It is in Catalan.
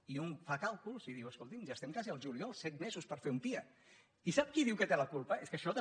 i un fa càlculs i diu escolti ja es·tem quasi al juliol set mesos per fer un pia i sap qui diu que en té la culpa és que això també